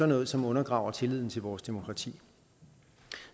noget som undergraver tilliden til vores demokrati